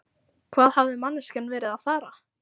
Hvað hafði manneskjan verið að fara?